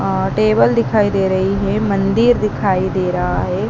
अ table दिखाई दे रही है मंदिर दिखाई दे रहा है।